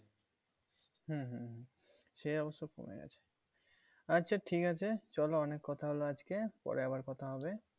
হ্যাঁ হ্যাঁ হ্যাঁ সে অবশ্য কমে গেছে। আচ্ছা ঠিক আছে চলো অনেক কথা হলো আজকে পরে আবার কথা হবে